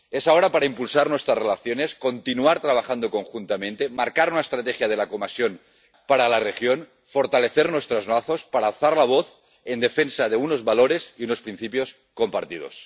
Es ahora cuando hay que impulsar nuestras relaciones, continuar trabajando conjuntamente, marcar una estrategia clara de la Comisión para la región, fortalecer nuestros lazos para alzar la voz en defensa de unos valores y unos principios compartidos.